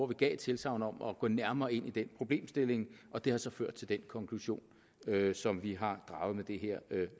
der et tilsagn om at gå nærmere ind i den problemstilling og det har så ført til den konklusion som vi har draget med det her